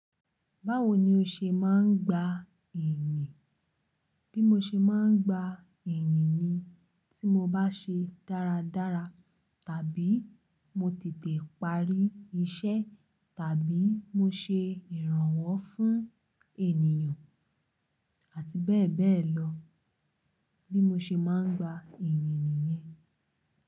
Báwo ni o ṣe máa ń gba ìrì? Bí mo ṣe máa ń gba ìrìn ni tí mo bá ṣe dáradára, tàbí mo tètè parí iṣẹ́, tàbí mo ṣe ìrànwọ́ fún ènìyàn, àti bẹ́ẹ̀ bẹ́ẹ̀ lọ. Bí mo ṣe máa ń gba ìrìn ni yẹn.